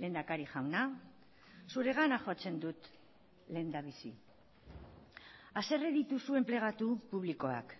lehendakari jauna zuregana jotzen dut lehendabizi haserre dituzu enplegatu publikoak